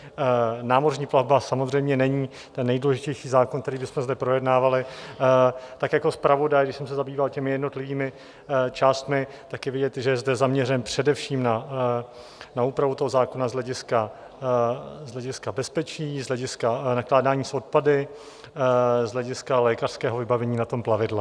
Námořní plavba samozřejmě není ten nejdůležitější zákon, který bychom zde projednávali, tak jako zpravodaj, když jsem se zabýval těmi jednotlivými částmi, tak je vidět, že je zde zaměřen především na úpravu toho zákona z hlediska bezpečí, z hlediska nakládání s odpady, z hlediska lékařského vybavení na tom plavidle.